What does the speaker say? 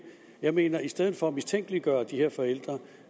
jeg mener at i stedet for at mistænkeliggøre de her forældre